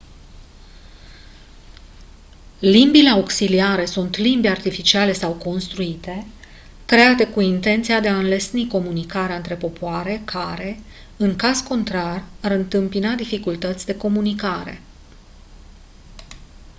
limbile auxiliare sunt limbi artificiale sau construite create cu intenția de a înlesni comunicarea între popoare care în caz contrar ar întâmpina dificultăți de comunicare